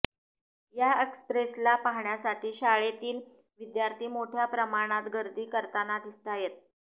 या एक्स्प्रेसला पाहण्यासाठी शाळेतील विद्यार्थी मोठ्या प्रमाणात गर्दी करताना दिसतायत